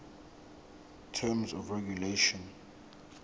terms of regulation